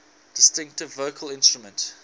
distinctive vocal instrument